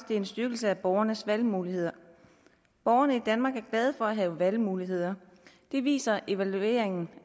det er en styrkelse af borgernes valgmuligheder borgerne i danmark er glade for at have valgmuligheder det viser evalueringen